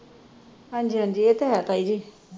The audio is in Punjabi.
ਹਾਂਜੀ ਹਾਂਜੀ ਇਹ ਤਾਂ ਹੈ ਤਾਈ ਜੀ